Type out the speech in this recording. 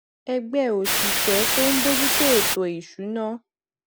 ẹgbẹ òṣìṣẹ tó ń bójú tó ètò ìṣúnná